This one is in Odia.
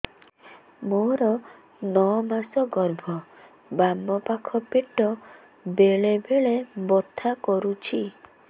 ମୋର ନଅ ମାସ ଗର୍ଭ ବାମ ପାଖ ପେଟ ବେଳେ ବେଳେ ବଥା କରୁଛି